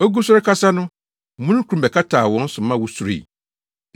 Ogu so rekasa no, omununkum bɛkataa wɔn so ma wosuroe.